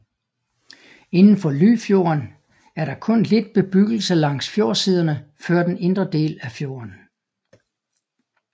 Indenfor Lyfjorden er der kun lidt bebyggelse langs fjordsiderne før den indre del af fjorden